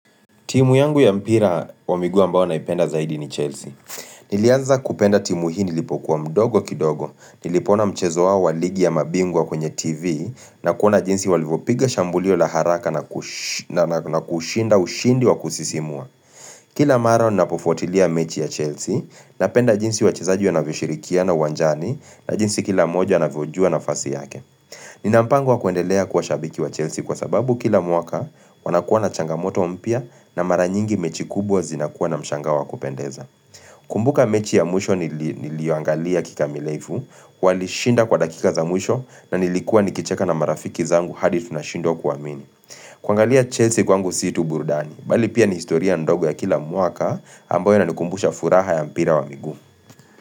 Timu yangu ya mpira wa miguu ambao naipenda zaidi ni Chelsea. Niliaza kupenda timu hii nilipokuwa mdogo kidogo. Nilipoona mchezo wa ligi ya mabingwa kwenye TV na kuona jinsi walivyopiga shambulio la haraka na kushinda ushindi wa kusisimua. Kila mara ninapofuatilia mechi ya Chelsea napenda jinsi wachezaji wanavyoshirikia na uwanjani na jinsi kila moja anvyojua nafasi yake. Nina mpango kuendelea kuwa shabiki wa Chelsea kwa sababu kila mwaka wanakuwa na changamoto mpya na mara nyingi mechi kubwa zinakuwa na mshangao wa kupendeza Kumbuka mechi ya mwisho niliyoangalia kikamilifu, walishinda kwa dakika za mwisho na nilikua nikicheka na marafiki zangu hadi tunashindwa kuamini kuangalia Chelsea kwangu si tu burudani, bali pia ni historia ndogo ya kila mwaka ambayo inanikumbusha furaha ya mpira wa miguu.